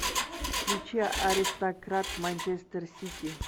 включи аристократ манчестер сити